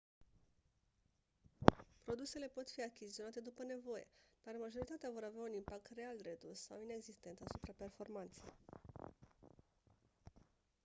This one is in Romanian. produsele pot fi achiziționate după nevoie dar majoritatea vor avea un impact real redus sau inexistent asupra performanței